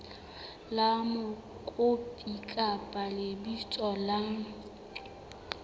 la mokopi kapa lebitso la